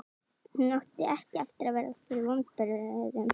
Hún átti ekki eftir að verða fyrir vonbrigðum.